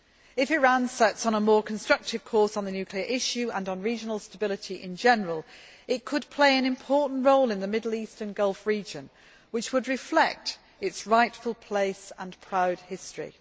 If Iran sets out on a more constructive course on the nuclear issue and on regional stability in general, it could play an important role in the Middle East and Gulf region, which would reflect its rightful place and proud history.